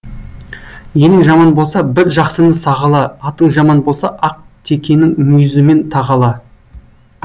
елің жаман болса бір жақсыны сағала атың жаман болса ақ текенің мүйізімен тағала